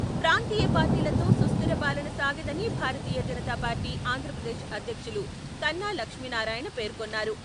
ప్రాంతీయ పార్టీలతో సుస్థిర పాలన సాగదని భారతీయ జనతాపార్టీ ఆంధ్రప్రదేశ్ అధ్యక్షులు కన్నా లక్ష్మీనారాయణ పేర్కొన్నారు.